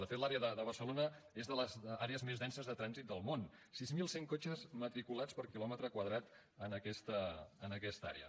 de fet l’àrea de barcelona és de les àrees més denses de trànsit del món sis mil cent cotxes matriculats per quilòmetre quadrat en aquesta àrea